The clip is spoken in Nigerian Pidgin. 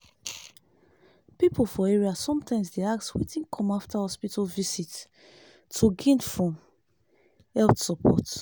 people for area sometimes dey ask wetin come after hospital visit to gain from health support.